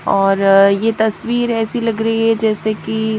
और ये तस्वीर ऐसी लग रही है जैसे कि--